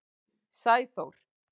Sæþór